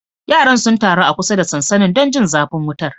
Yaran sun taru a kusa da sansanin don jin zafin wutar.